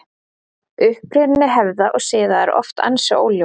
Uppruni hefða og siða er oft ansi óljós.